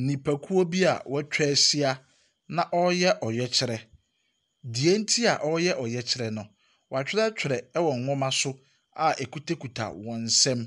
Nnipakuo bi a wɔatwa ahyia na ɔreyɛ ɔyɛkyerɛ, deɛnti a ɔreyɛ ɔyɛkyerɛ no, wɔatwerɛtwerɛ ɛwɔ nwoma so a akitakita wɔn nsam,